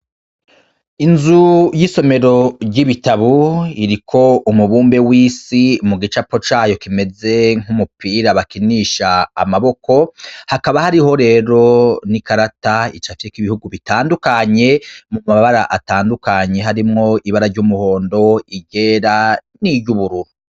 Inzu y'isomero ry'ibitabo iriko umubumbe w'isi mu gicapo cayo kimeze nk'umupira bakinisha amaboko, hakaba hariho rero n'ikarata icafyeko ibihugu bitandukanye, mu mabara atandukanye, harimwo ibara ry'umuhondo, iryera, n'iryubururu.